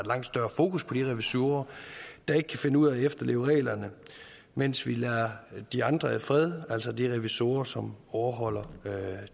langt større fokus på de revisorer der ikke kan finde ud af at efterleve reglerne mens vi lader de andre i fred altså de revisorer som overholder